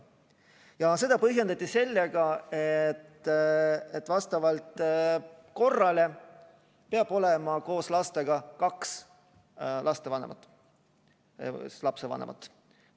Ja seda põhjendati sellega, et vastavalt korrale peab koos lastega olema kaks lapsevanemat.